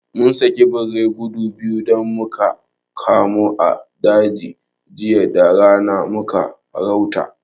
Mun saki birai gudu biyu da muka kamo a daji jiya da rana muna farauta